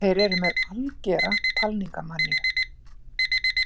Þeir eru með algera talningarmaníu.